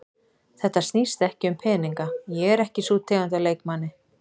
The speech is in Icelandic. Þetta snýst ekki um peninga, ég er ekki sú tegund af leikmanni.